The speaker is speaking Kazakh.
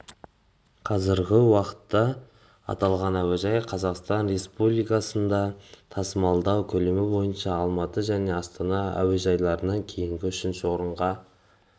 қазіргі уақытта аталған әуежай қазақстан республикасында тасымалдау көлемі бойынша алматы және астана әуежайларынан кейінгі үшінші орынға